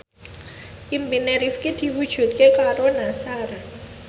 impine Rifqi diwujudke karo Nassar